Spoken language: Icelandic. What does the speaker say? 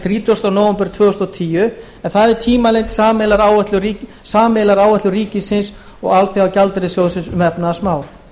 þrítugasta nóvember tvö þúsund og tíu sem er tímalengd sameiginlegrar áætlunar ríkisins og alþjóðagjaldeyrissjóðsins um efnahagsmál